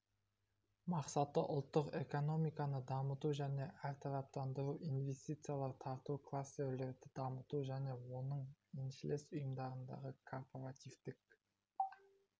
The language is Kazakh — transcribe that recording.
мақсаты ұлттық экономиканы дамыту мен әртараптандыру инвестициялар тарту кластерлерді дамыту және оның еншілес ұйымдарындағы корпоративтік